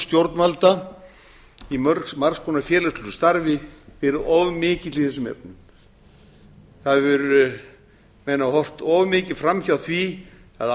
stjórnvalda í margs konar félagslegu starfi verið of mikill í þessum efnum menn hafa horft of mikið fram hjá því að